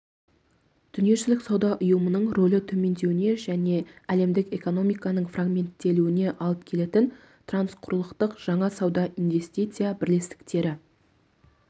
дүниежүзілік сауда ұйымының рөлі төмендеуіне және әлемдік экономиканың фрагменттелуіне алып келетін трансқұрылықтық жаңа сауда-инвестиция бірлестіктері